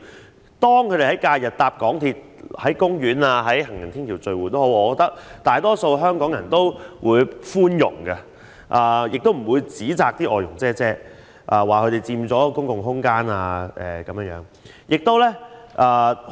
所以，當她們在假日乘搭港鐵，在公園和行人天橋聚會時，大多數香港人都非常包容，不會指責她們佔用公共空間。